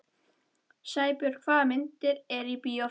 Sæbjörn, hvaða myndir eru í bíó á föstudaginn?